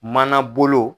Mana bolo